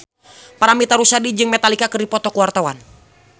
Paramitha Rusady jeung Metallica keur dipoto ku wartawan